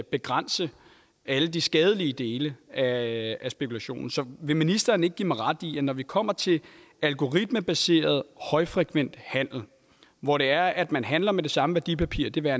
begrænse alle de skadelige dele af spekulationen så vil ministeren ikke give mig ret i at det når det kommer til algoritmebaseret højfrekvent handel hvor det er at man handler med det samme værdipapir det være